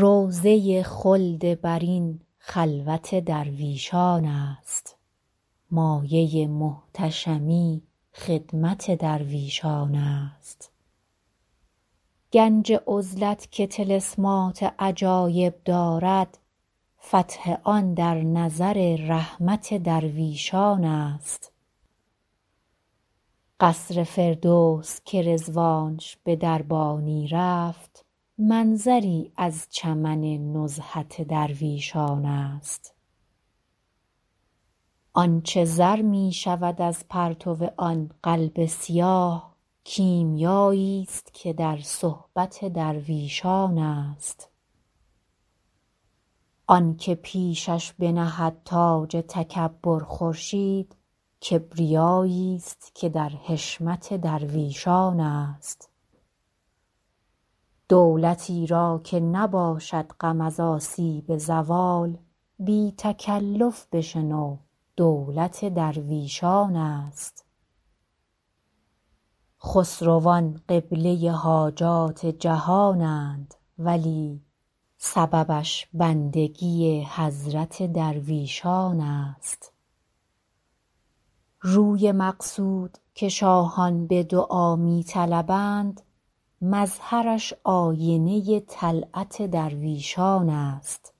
روضه خلد برین خلوت درویشان است مایه محتشمی خدمت درویشان است گنج عزلت که طلسمات عجایب دارد فتح آن در نظر رحمت درویشان است قصر فردوس که رضوانش به دربانی رفت منظری از چمن نزهت درویشان است آن چه زر می شود از پرتو آن قلب سیاه کیمیاییست که در صحبت درویشان است آن که پیشش بنهد تاج تکبر خورشید کبریاییست که در حشمت درویشان است دولتی را که نباشد غم از آسیب زوال بی تکلف بشنو دولت درویشان است خسروان قبله حاجات جهانند ولی سببش بندگی حضرت درویشان است روی مقصود که شاهان به دعا می طلبند مظهرش آینه طلعت درویشان است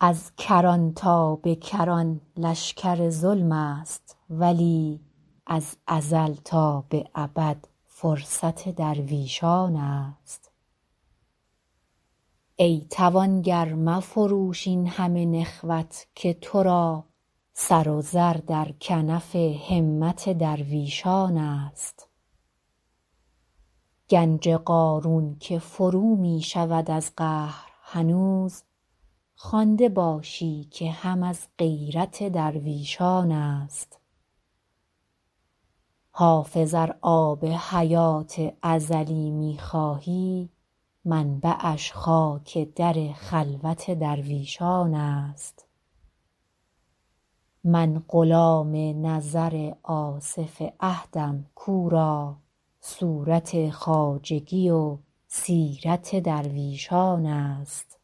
از کران تا به کران لشکر ظلم است ولی از ازل تا به ابد فرصت درویشان است ای توانگر مفروش این همه نخوت که تو را سر و زر در کنف همت درویشان است گنج قارون که فرو می شود از قهر هنوز خوانده باشی که هم از غیرت درویشان است حافظ ار آب حیات ازلی می خواهی منبعش خاک در خلوت درویشان است من غلام نظر آصف عهدم کو را صورت خواجگی و سیرت درویشان است